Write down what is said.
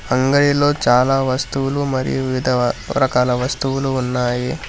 అంగడిలో చాలా వస్తువులు మరియు ఇతర రకాల వస్తువులు ఉన్నాయి